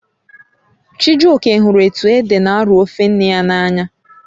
Chijioke hụrụ etu ede n'arọ ofe nne ya n'anya